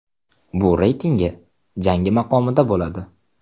Bu reytingi jangi maqomida bo‘ladi.